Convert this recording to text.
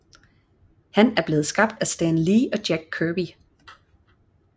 Han er blevet skabt af Stan Lee og Jack Kirby